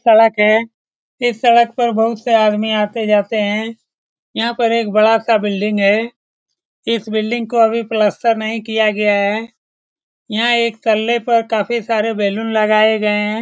सड़क है इस सड़क पर बहुत से आदमी आते-जाते हैं यहाँ पर बड़ा सा बिल्डिंग है इस बिल्डिंग को अभी प्लास्टर नहीं किया गया है यहाँ एकतले पर काफी सारे बैलून लगाए गए हैं ।